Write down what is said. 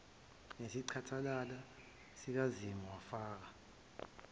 nesicathalala sikazimu wafaka